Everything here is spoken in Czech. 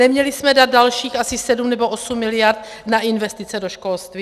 Neměli jsme dát dalších asi 7 nebo 8 mld. na investice do školství?